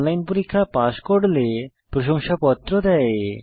online পরীক্ষা pass করলে প্রশংসাপত্র দেয়